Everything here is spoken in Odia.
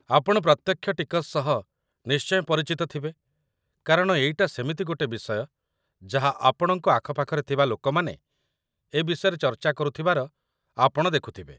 ଆପଣ ପ୍ରତ୍ୟକ୍ଷ ଟିକସ ସହ ନିଶ୍ଚୟ ପରିଚିତ ଥିବେ, କାରଣ ଏଇଟା ସେମିତି ଗୋଟେ ବିଷୟ, ଯାହା ଆପଣଙ୍କ ଆଖପାଖରେ ଥିବା ଲୋକମାନେ ଏ ବିଷୟରେ ଚର୍ଚ୍ଚା କରୁଥିବାର ଆପଣ ଦେଖୁଥିବେ।